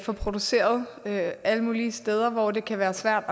får produceret alle mulige steder hvor det kan være svært